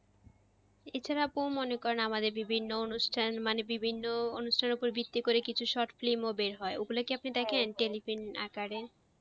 এছাড়া আপু মনে করেন আমাদের বিভিন্ন অনুষ্ঠান মানে বিভিন্ন অনুষ্ঠানের উপর ভিত্তি করে কিছু short film বের হয় ওগুলো কি টেলিফিন আকারে?